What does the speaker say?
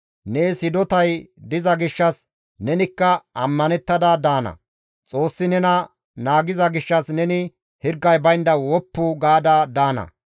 Nees hidotay diza gishshas nenikka ammanettada daana; Xoossi nena naagiza gishshas neni hirgay baynda woppu gaada daana.